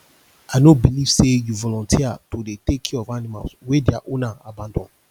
i no beliv sey you volunteer to dey take care of animals wey their owner abandon